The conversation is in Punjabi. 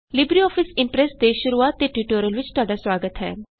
ਲਿਬਰੇਆਫਿਸ ਇਮਪ੍ਰੈਸ ਦੇ ਸ਼ੁਰੁਆਤ ਦੇ ਟਯੂਟੋਰੀਅਲ ਵਿਚ ਤੁਹਾਡਾ ਸੁਆਗਤ ਹੈ